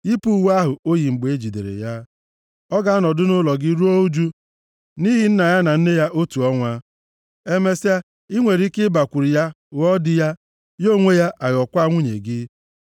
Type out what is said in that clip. yipụ uwe ahụ o yi mgbe e jidere ya. Ọ ga-anọdụ nʼụlọ gị ruo ụjụ nʼihi nna ya na nne ya otu ọnwa. Emesịa, i nwere ike ịbakwuru ya ghọọ di ya, ya onwe ya ga-aghọkwa nwunye gị.